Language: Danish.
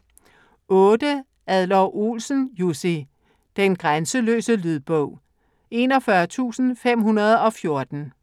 Adler-Olsen, Jussi: Den grænseløse Lydbog 41514